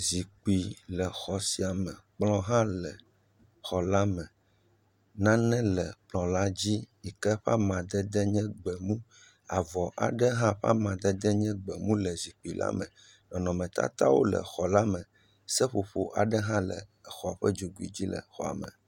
Zikpui le xɔ sia me, kplɔ hã le xɔ la me, nane le kplɔ la dzi yike ƒe amadede nye gbemu, avɔ aɖe hã ƒe amadede nye gbemu le zikpui la me, nɔnɔmetatawo le xɔ la me, seƒoƒo aɖe hã le xɔ ƒe dzogoe dzi le xɔ la me.